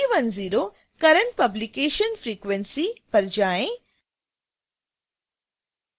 अब 310 current publication frequency पर जाएँ